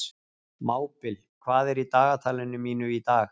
Mábil, hvað er í dagatalinu mínu í dag?